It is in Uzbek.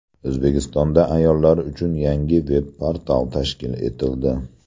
O‘zbekistonda ayollar uchun yangi veb-portal tashkil etildi.